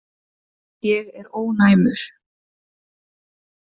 Ég er ónæmur.